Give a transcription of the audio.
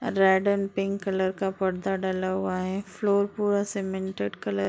Red and pink colour का पर्दा डला हुआ है। फ्लोर पूरा सीमेंटेड कल --